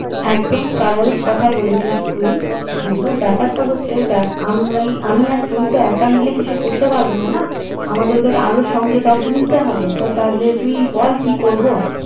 একদম স্বাভাবিক কথা বলেছিস তুই কিন্তু ব্যাপার টা হচ্ছে দেখ আমি আর তুই একা মিলে তো কিছু করতে পারবো না না আমাদেরকে আরো সঙ্গে কাউকে নিতে হবে তো তাহলে তুই বল কি করবো